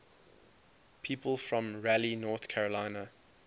people from raleigh north carolina